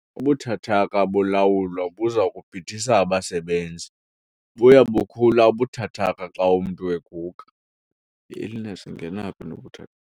Ubuthathaka bolawulo buza kubhidisa abasebenzi. buya bukhula ubuthathaka xa umntu eguga. I-illeness ingena phi nokuthe